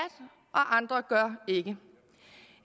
og andre gør ikke